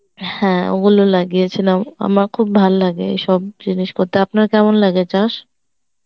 হ্যাঁ ওগুলো লাগিয়েছিলাম আমার খুব ভালো লাগে এইসব জিনিস করতে আপনার কেমন লাগে চাষ?